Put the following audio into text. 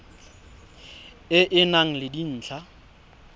e e nang le dintlha